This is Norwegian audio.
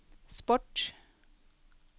sport